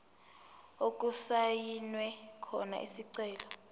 okusayinwe khona isicelo